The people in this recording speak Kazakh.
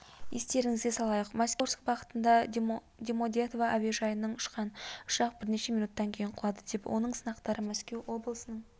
естеріңізге салайық мәскеу орск бағытында домодедово әуежайынан ұшқан ұшақ бірнеше минуттан кейін құлады оның сынықтары мәскеу облысының